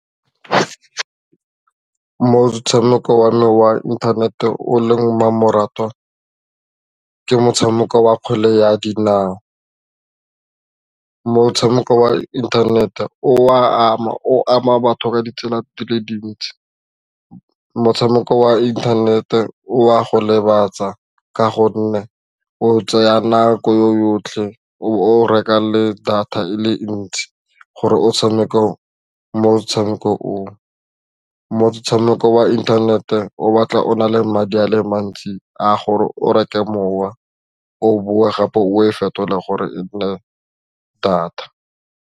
Motshameko wa me wa inthanete o leng mmamoratwa ke motshameko wa kgwele ya dinao, motshameko wa inthanete o a ama, o ama batho ka ditsela di le dintsi motshameko wa internet-e o a go lebatsa ka gonne o tseya nako yotlhe o reka le data e le ntsi gore motshameko wa inthanete o batla o na le madi a le mantsi a gore o reke mowa o boe gape o e fetola gore e nne data.